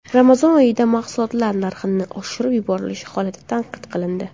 Ramazon oyida mahsulotlar narxining oshirib yuborilishi holati tanqid qilindi.